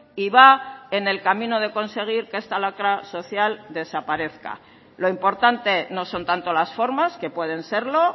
y va en el camino de conseguir que esta lacra social desaparezca lo importante no son tanto las formas que pueden serlo